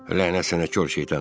Lənət sənə, kor şeytan.